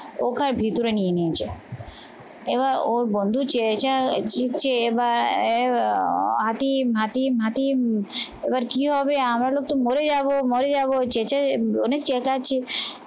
ওকে ভেতরে নিয়ে নিয়েছে। এবার ওর বন্ধু চেয়েছে জিতছে বা আহ হাতি মাটি এবার কি হবে আমারও তো মরে যাবো মরে যাবো চেঁচিয়ে অনেক চেঁচাচ্ছি